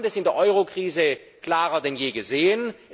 Wir haben das in der Euro Krise klarer denn je gesehen.